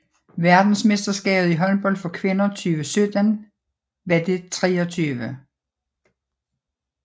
Verdensmesterskabet i håndbold for kvinder 2017 var det 23